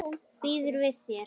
Býður við þér.